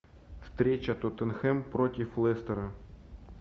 встреча тоттенхэм против лестера